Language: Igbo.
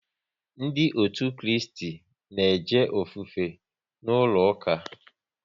Ndị otu Kristi na eje ofufe n'ụlọ ụka